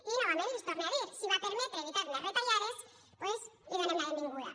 i novament els torne a dir si va permetre evitar més retallades doncs li donem la benvinguda